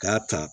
K'a ta